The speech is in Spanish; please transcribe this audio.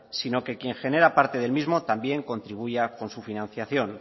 sino que quien genera parte del mismo también contribuya con su financiación